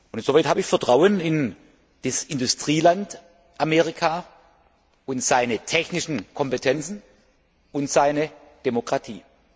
Insoweit habe ich Vertrauen in das Industrieland Amerika und seine technischen Kompetenzen und seine Demokratie.